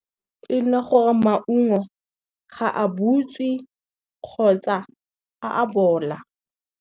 E nna gore maungo, ga a butswe kgotsa a a bola.